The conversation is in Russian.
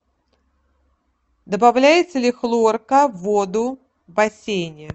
добавляется ли хлорка в воду в бассейне